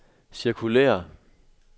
cirkulér